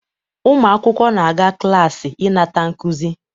Ụmụ akwụkwọ na-aga klaasị ịnata nkuzi